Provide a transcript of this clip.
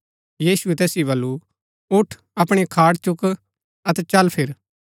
यीशुऐ तैसिओ बल्लू उठ अपणी खाट चुक अतै चल फिर